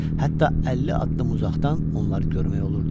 Hətta 50 addım uzaqdan onları görmək olurdu.